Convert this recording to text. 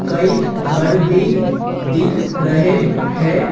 कई घर भी दिख रहे हैं।